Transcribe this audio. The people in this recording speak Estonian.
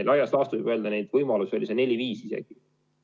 Laias laastus võib öelda, et neid võimalusi oli neli või isegi viis.